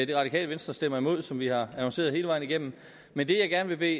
det radikale venstre stemmer imod som vi har annonceret hele vejen igennem men det jeg gerne vil